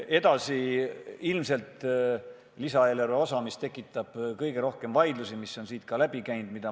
Edasi tuleb see lisaeelarve osa, mis ilmselt tekitab kõige rohkem vaidlusi ja mis on siit ka läbi käinud.